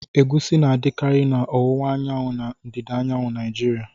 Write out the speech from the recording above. Egusi na-adịkarị na owuwa anyanwu na ndịda anyanwụ Naijiriya.